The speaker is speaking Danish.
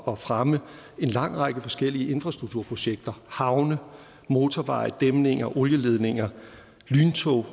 at fremme en lang række forskellige infrastrukturprojekter havne motorveje dæmninger olieledninger lyntog